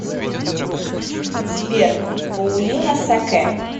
сбер паулина саке